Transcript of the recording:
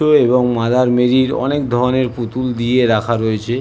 অনেকগুলো এবং মাদার মেরির অনেকধরণের পুতুল দিয়ে রাখা রয়েছে ।